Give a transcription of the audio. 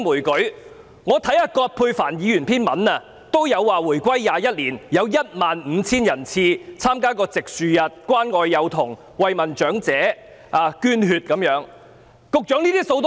葛珮帆議員有文章提及回歸21年，解放軍有15000人次曾參加植樹日、關愛幼童、慰問長者、捐血等活動。